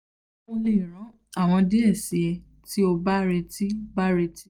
mo le ran aworan die si e ti o ba reti ba reti